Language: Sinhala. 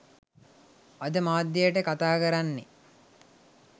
අද මාධ්‍යයට කතාකරන්නේ.